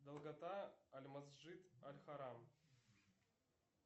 долгота аль масши аль харам